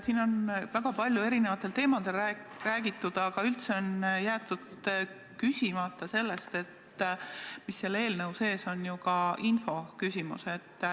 Siin on räägitud väga paljudel erinevatel teemadel, aga üldse pole küsitud selle kohta, et selle eelnõu sees on ju ka infoküsimus.